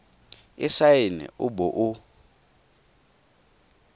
e saene o bo o